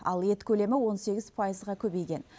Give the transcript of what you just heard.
ал ет көлемі он сегіз пайызға көбейген